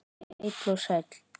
Heill og sæll.